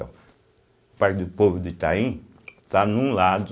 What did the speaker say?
O Parque do Povo do Itaim está num lado,